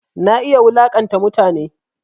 Na iya wulaƙanta mutane